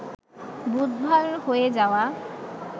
বুধবার হয়ে যাওয়া